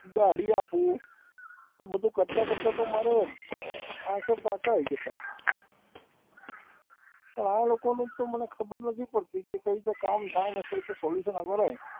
ગાડી હાંકુ, તો બધું કરતા કરતા તો મારે આંખે પાટા આવી ગયા, પણ આ લોકોનું તો મને ખબર નથી પડતી કે કઈ રીતે કામ થાય અને કઈ રીતે solution